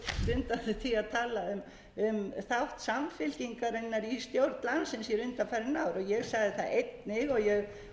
undan því að tala um þátt samfylkingarinnar í stjórn landsins hér undanfarin ár ég sagði það einnig og vil ítreka það